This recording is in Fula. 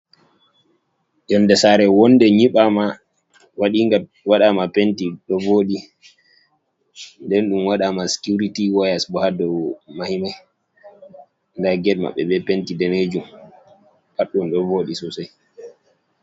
Yoonde Sare wondee nyiɓama waɗinga waɗama Penti ɗo voɗi. Nden ɗum waɗanama Sikiuriti wayas bo ha dou mahimai. Nda ged mabɓe be Penti damejum pad ɗum ɗo vodi Sosai.